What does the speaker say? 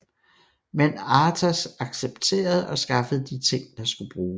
Men Arthas accepterede og skaffede de ting der skulle bruges